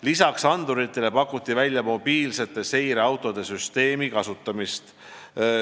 Lisaks anduritele pakuti välja mobiilsete seireautode süsteemi kasutamist.